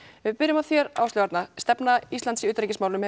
við byrjum á þér Áslaug Arna stefna Íslands í utanríkismálum